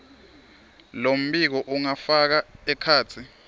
lombiko ungafaka ekhatsi